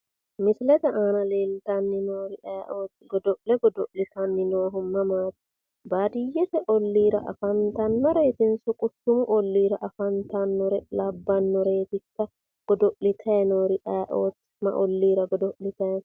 misilete aana leeltanni noori ayeeooti godo'le godo'litanni noohu mamaati baadiyyete olliira afantanoreetinso quchumu olliira afantannore labbannoreetikka godo'litanni noori ayeeooti ma olliira godo'litanni no?